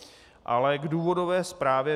Ale k důvodové zprávě.